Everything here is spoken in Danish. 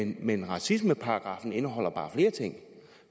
men racismeparagraffen indeholder bare flere ting